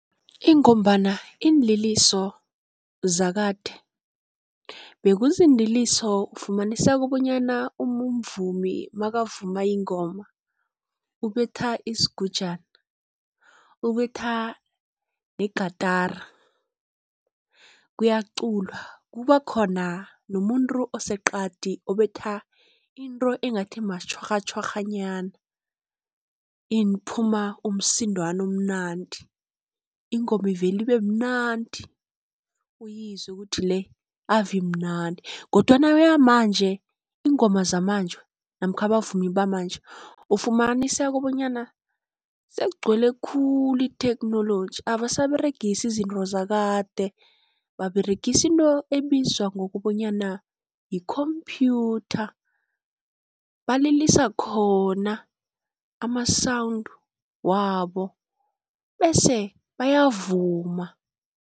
Ingombana iinliliso zakade bekuziinliliso ufumaniseka bonyana umvumi makavuma ingoma ubetha isigujana, ubetha negatara kuyaculwa kuba khona nomuntu oseqadi obetha into engathi matjhwarhatjhwarha nyana iphuma umsindwana omnandi. Ingoma ivele ibemnandi uyizwe kuthi le ave imnandi kodwana yeyamanje iingoma zamanje namkha abavumi bamanje, ufumaniseka bonyana sekugcwele khulu itheknoloji abasaberegisi izinto zakade, baberegisa into ebizwa ngokobanyana yikhomphyutha balilisa khona ama-sound wabo bese bayavuma.